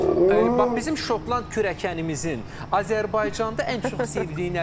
Ən çox, bax bizim şotland kürəkənimizin Azərbaycanda ən çox sevdiyi nədir?